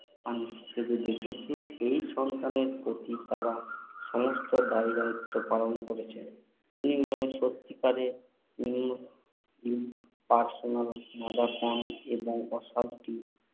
হিসাবে দেখেছে, সেই সন্তানের প্রতি তারা সমস্ত দায়দায়িত্ব পালন করেছে। বিনিময়ে সত্যিকারের IMP~IMP impersonal mother এর আস্বাদটি